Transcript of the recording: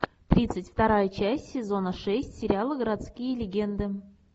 тридцать вторая часть сезона шесть сериала городские легенды